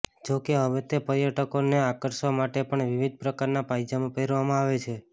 જો કે હવે તો પર્યટકોને આકર્ષવા માટે પણ વિવિધ પ્રકારના પાયજામા પહેરાવવામાં આવે છે